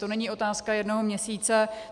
To není otázka jednoho měsíce.